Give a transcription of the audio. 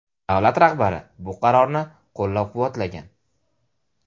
Davlat rahbari bu qarorni qo‘llab-quvvatlagan.